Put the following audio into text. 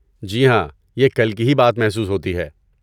جی ہاں، یہ کل کی ہی بات محسوس ہوتی ہے۔